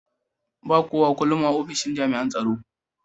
ba kowak ullun a opishin jami'in tsaro.